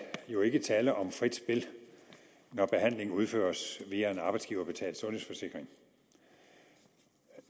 er jo ikke tale om frit spil når behandlingen udføres via en arbejdsgiverbetalt sundhedsforsikring